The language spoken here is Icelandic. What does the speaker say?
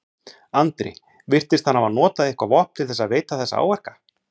Andri: Virtist hann hafa notað eitthvað vopn til þess að veita þessa áverka?